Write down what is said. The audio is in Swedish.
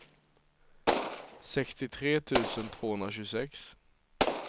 sextiotre tusen tvåhundratjugosex